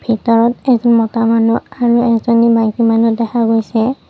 এটা মতা মানুহ আৰু এজনী মাইকী মানুহ দেখা গৈছে।